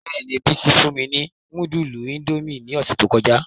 Bẹ́ẹ̀ni, Bisi fun mi ni nudulu Indomie ni ọsẹ to kọja.